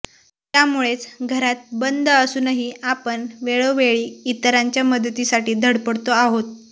त्यामुळेच घरात बंद असूनही आपण वेळोवेळी इतरांच्या मदतीसाठी धडपडतो आहोत